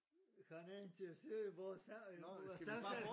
Han er interesseret i vores samtale